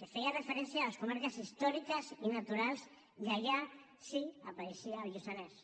que feia referència a les comarques històriques i naturals i allà sí hi apareixia el lluçanès